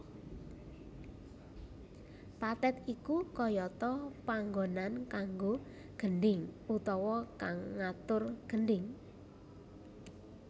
Pathet iku kayata panggonan kanggo gendhing utawa kang ngatur gendhing